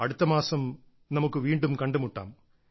അടുത്തമാസം നമുക്ക് വീണ്ടും കണ്ടുമുട്ടാം